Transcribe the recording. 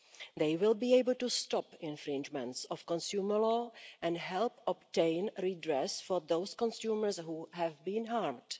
They will be able to stop infringements of consumer law and help obtain redress for those consumers who have been harmed.